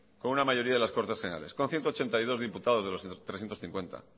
con una mayoría de las cortes generales con ciento ochenta y dos diputados de los trescientos cincuenta